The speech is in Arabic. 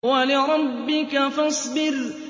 وَلِرَبِّكَ فَاصْبِرْ